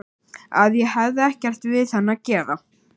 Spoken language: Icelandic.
Að ég hefði ekkert við hann að gera.